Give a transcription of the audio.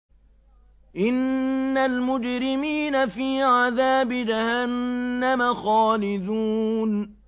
إِنَّ الْمُجْرِمِينَ فِي عَذَابِ جَهَنَّمَ خَالِدُونَ